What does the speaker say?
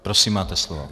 Prosím, máte slovo.